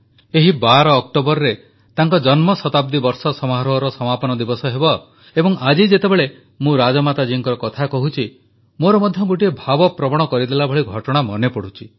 ଏହି 12 ଅକ୍ଟୋବରରେ ତାଙ୍କ ଜନ୍ମଶତାବ୍ଦୀ ବର୍ଷ ସମାରୋହର ସମାପନ ଦିବସ ହେବ ଏବଂ ଆଜି ଯେତେବେଳେ ମୁଁ ରାଜମାତା ଜୀଙ୍କ କଥା କହୁଛି ମୋର ମଧ୍ୟ ଗୋଟିଏ ଭାବପ୍ରବଣ କରିଦେବା ଭଳି ଘଟଣା ମନେପଡ଼ୁଛି